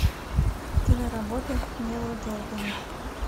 киноработа нила джордана